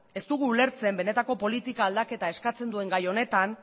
ez dugu ulertzen benetako politika aldaketa eskatzen duen gai honetan